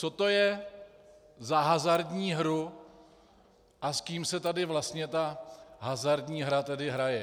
Co to je za hazardní hru a s kým se tady vlastně ta hazardní hra tady hraje?